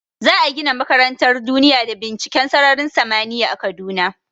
Za a gina makarantar duniya da binciken sararin samaniya a kaduna